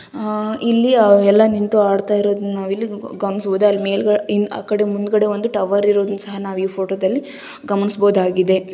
ಇಲ್ಲಿ ಎಲ್ಲ ನಿಂತು ಅಡಿತಾ ಇರೋದನ್ನ ಇಲ್ಲಿ ನಾವು ಗಮನಿಸಬಹುದಾಗಿದೆ ಆ ಕಡೆ ಮುಂದ್ಗಡೆ ಒಂದು ಟವರ್ ಇರೋದನ್ನ ಸಹ ನಾವ್ ಈ ಫೋಟೋದಲ್ಲಿ ಗಮನಿಸಬಹುದಾಗಿದೆ.